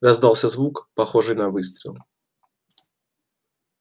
раздался звук похожий на выстрел